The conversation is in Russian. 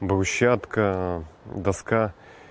брусчатка доска